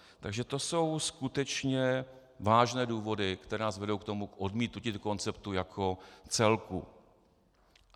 Takže to jsou skutečně vážné důvody, které nás vedou k tomu odmítnutí konceptu jako celku.